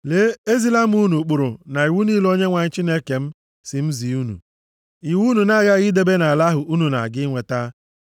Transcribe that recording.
Lee, ezila m unu ụkpụrụ na iwu niile Onyenwe anyị Chineke m sị m zi unu, iwu unu na-aghaghị idebe nʼala ahụ unu na-aga inweta.